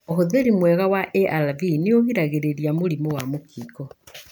ũhũthri mwega wa ARV nĩũgiragĩrĩria mũrimũ wa mũkingo.